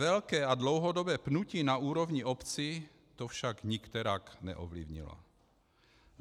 Velké a dlouhodobé pnutí na úrovni obcí to však nikterak neovlivnilo.